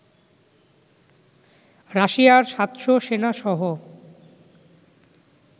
রাশিয়ার ৭০০ সেনা সহ